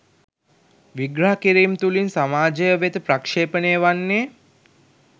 විග්‍රහ කිරීම් තුළින් සමාජය වෙත ප්‍රක්ෂේපණය වන්නේ